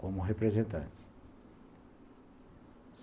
como representante.